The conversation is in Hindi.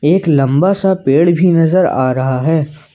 एक लंबा सा पेड़ भी नजर आ रहा है।